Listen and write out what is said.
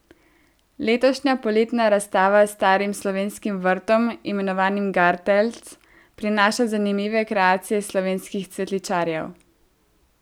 Letošnja poletna razstava s starim slovenskim vrtom, imenovanim gartelc, prinaša zanimive kreacije slovenskih cvetličarjev.